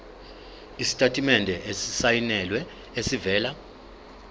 isitatimende esisayinelwe esivela